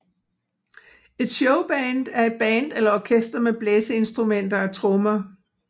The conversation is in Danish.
Et Showband er et band eller orkester med blæseinstrumenter og trommer